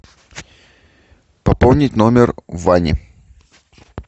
пополнить номер вани